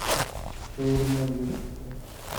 шаурма две штуки